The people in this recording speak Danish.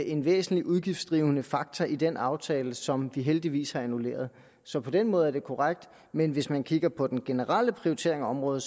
en væsentlig udgiftsdrivende faktor i den aftale som vi heldigvis har annulleret så på den måde er det korrekt men hvis man kigger på den generelle prioritering af området